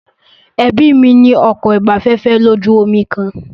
Ẹbí mí ní ọkọ̀ ìgbafẹ́fẹ́ lójú omi kan.